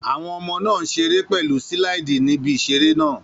Àwọn ọmọ náà ń ṣeré pẹ̀lú síláìdì ní ibi ìseré náà